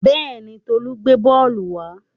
Bẹ́ẹ̀ni, Tolú gbé bọ́ọ́lù wa.